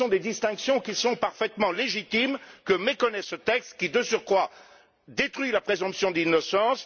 Ce sont des distinctions qui sont parfaitement légitimes, que méconnaît ce texte qui, de surcroît, détruit la présomption d'innocence.